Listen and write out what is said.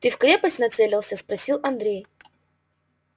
ты в крепость нацелился спросил андрей